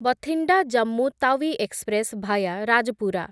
Bathinda Jammu Tawi express via Rajpura